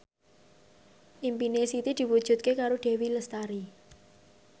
impine Siti diwujudke karo Dewi Lestari